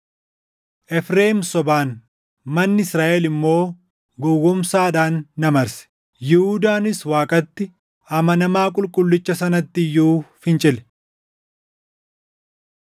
Efreem sobaan, manni Israaʼel immoo gowwoomsaadhaan na marse. Yihuudaanis Waaqatti, amanamaa Qulqullicha Sanatti iyyuu fincile.